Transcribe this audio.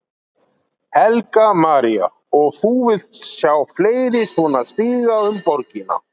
Helga María: Og þú vilt sjá fleiri svona stíga um borgina?